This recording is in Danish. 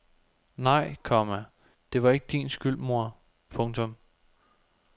Nej, komma det var ikke din skyld mor. punktum